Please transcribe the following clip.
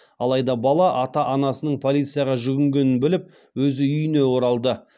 алайда бала ата анасының полицияға жүгінгенін біліп өзі үйіне оралды